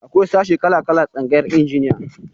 Akwai sashi kala-kala a tsangayar injiniya.